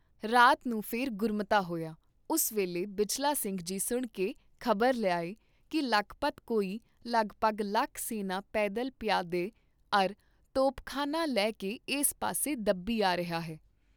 ਰਾਤ ਨੂੰ ਫਿਰ ਗੁਰਮਤਾ ਹੋਇਆ, ਉਸ ਵੇਲੇ ਬਿਜਲਾ ਸਿੰਘ ਜੀ ਸੁਣ ਕੇ ਖ਼ਬਰ ਲਿਆਏ ਕੀ ਲਖਪਤ ਕੋਈ ਲਗ ਪਗ ਲੱਖ ਸੈਨਾ ਪੈਦਲ ਪਿਆਦੇ ਅਰ ਤੋਪਖਾਨਾ ਲੈ ਕੇ ਏਸ ਪਾਸੇ ਦੱਬੀ ਆ ਰਿਹਾ ਹੈ।